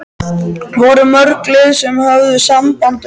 Voru mörg lið sem höfðu samband við þig?